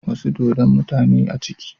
Wasu dodon, mutane ne a ciki